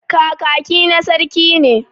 Kakaki na saraki ne.